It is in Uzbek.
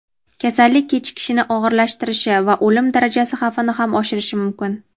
kasallik kechishini og‘irlashtirishi va o‘lim darajasi xavfini ham oshirishi mumkin.